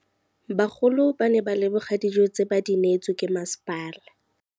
Bagolo ba ne ba leboga dijô tse ba do neêtswe ke masepala.